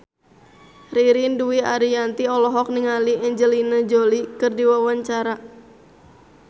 Ririn Dwi Ariyanti olohok ningali Angelina Jolie keur diwawancara